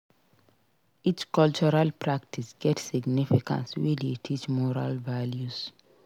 Each cultural practice get significance wey dey teach moral values.